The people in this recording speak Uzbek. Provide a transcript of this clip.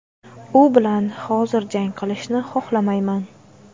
U bilan hozir jang qilishni xohlamayman.